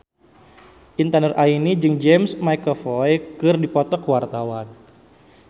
Intan Nuraini jeung James McAvoy keur dipoto ku wartawan